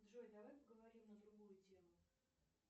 джой давай поговорим на другую тему